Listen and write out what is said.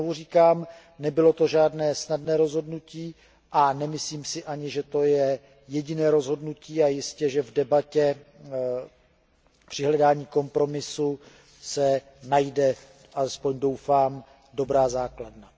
Znovu říkám, nebylo to žádné snadné rozhodnutí a nemyslím si ani, že to je jediné rozhodnutí a v debatě při hledání kompromisu se určitě najde, alespoň doufám, dobrá základna.